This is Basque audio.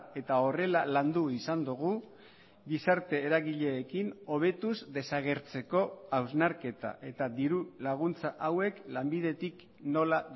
eta horrela landu izan dugu gizarte eragileekin hobetuz desagertzeko hausnarketa eta diru laguntza hauek lanbidetik nola